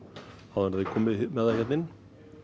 áður en þeir koma með það hérna inn